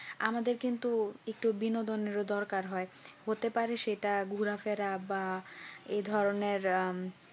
আমাদের কিন্তু একটু বিনোদনের ও দরকার হয় হতে পারে সেটা ঘোরাফেরা বা এ ধরনের আহ